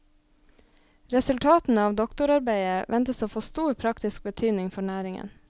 Resultatene av doktorarbeidet ventes å få stor praktisk betydning for næringen.